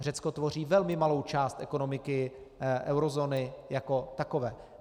Řecko tvoří velmi malou část ekonomiky eurozóny jako takové.